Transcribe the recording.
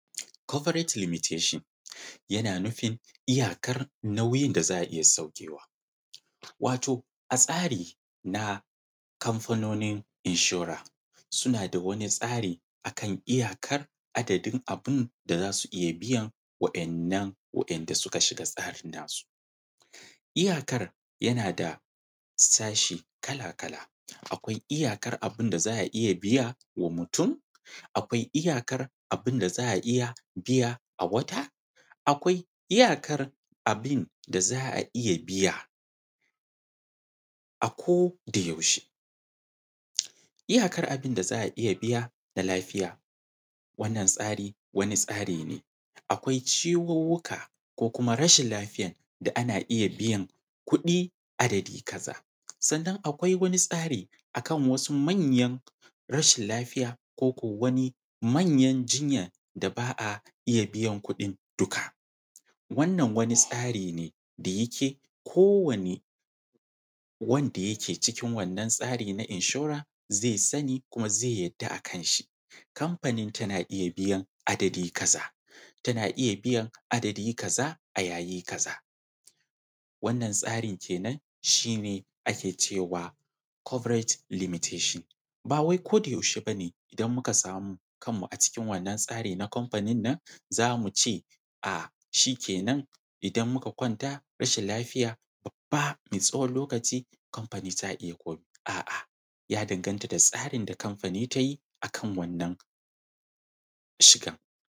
Corporate Limitation, yana nufin iyakar nauyin da za a iya saukewa. Wato a tsari na Kamfanonin Inshora, suna da wani tsari a kan iyakar adadin abin da za su iya biyan wa`yannan wa`yanda suka shiga tsarin nasu. Iyakar yana da sashe kala-kala. Akwai iyakar abin da za a iya biya wa mutum; akwai iyakar abin da za a iya biya a wata; akwai iyakar abin da za a iya biya, a kodayaushe. Iyakar abin da za a iya biya na lafiya. wannan tsari, wani tsari ne. Akwai ciwuwuka, ko kuma rashin lafiya da ana iya biyan kuɗi adadi kaza, sannan akwai wani tsari a kan wasu manyan rashin lafiya, ko ko wani manyan jinya da ba a iya biyan kuɗin duka. Wannan wani tsari ne da yake kowane wanda yake cikin wannan tsari na inshora zai sani, kuma zai yarda a kanshi. Kanfanin tana iya biyan adadi kaza, tana iya biyan adadi kaza a yayi kaza. Wannan tsarin ke nan, shi ne ake ce wa, ‘Corporate Limitation’. Ba wai kodayaushe ba ne idan muka samu kanmu a cikin wannan tsari na kamfanin nan, za mu ce a shi ke nan, idan muka kwanta rashin lafiya babba na tsawon lokaci, Kamfanin tana iya komai, a’a ya danganta da tsarin da kamfani ta yi a kan wannan, shigan..